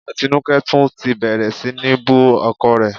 Atinúkẹ́ tún ti bẹ̀rẹ̀ sí ní bú ọkọ rẹ